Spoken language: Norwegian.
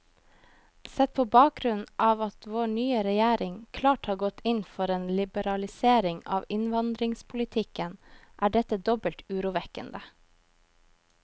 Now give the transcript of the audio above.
Sett på bakgrunn av at vår nye regjering klart har gått inn for en liberalisering av innvandringspolitikken, er dette dobbelt urovekkende.